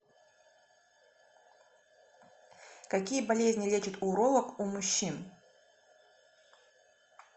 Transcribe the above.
какие болезни лечит уролог у мужчин